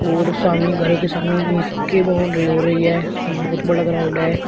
और सामी घर के सामी ईंट के बाउंड्री हो रही है ये बहुत बड़ा ग्राउंड है।